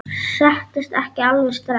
Settist ekki alveg strax.